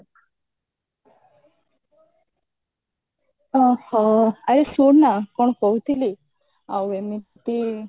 ଓହୋ ଆଉ ଶୁଣନା କଣ କହୁଥିଲି ଆଉ ଏମିତି